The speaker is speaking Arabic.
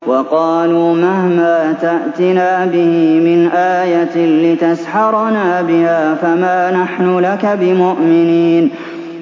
وَقَالُوا مَهْمَا تَأْتِنَا بِهِ مِنْ آيَةٍ لِّتَسْحَرَنَا بِهَا فَمَا نَحْنُ لَكَ بِمُؤْمِنِينَ